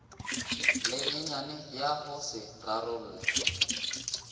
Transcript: lenyenyane ya go se rarolle